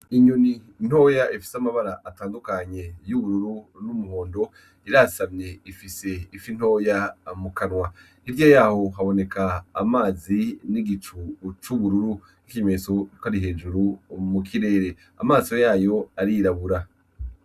Inyoni ntoya ifise amabara atandukanye y'ubururu n'umuhondo, irasamye ifise ifi ntoya mukanwa, hirya yaho haboneka amazi n'igicu c'ubururu hejuru mukirere amaso yayo arirabura.